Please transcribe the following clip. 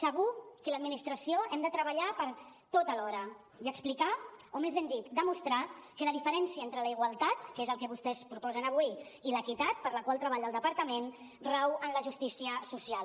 segur que l’administració hem de treballar per tot alhora i explicar o més ben dit demostrar que la diferència entre la igualtat que és el que vostès proposen avui i l’equitat per la qual treballa el departament rau en la justícia social